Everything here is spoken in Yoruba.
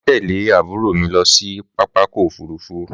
Màá tẹ̀lé àbúrò mi lọ sí pápákọ̀ òfúrufú?